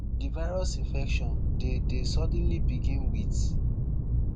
di virus infection dey dey suddenly begin wit